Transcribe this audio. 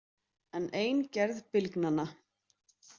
En ein gerð bylgnanna.